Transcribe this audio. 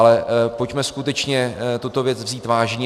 Ale pojďme skutečně tuto věc vzít vážně.